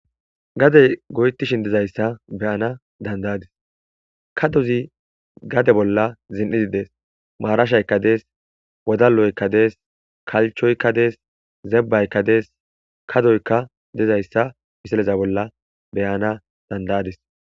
gadey goytishin dizayssa beyana dandayadis kadozi gade bolla zin7idi dees maarashaykka dees wodaloykka dees kalchoykka dees zebbaykka dees kadoykka dizayssa miseleza bolla beyana dandayadis